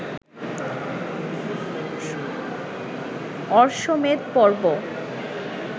অশ্বমেধ পর্ব